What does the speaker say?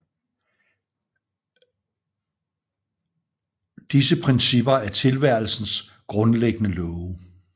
Disse principper er tilværelsens grundlæggende love